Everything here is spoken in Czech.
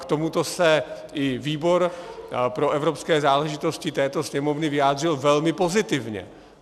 K tomuto se i výbor pro evropské záležitosti této Sněmovny vyjádřil velmi pozitivně.